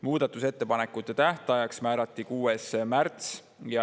Muudatusettepanekute tähtajaks määrati 6. märts.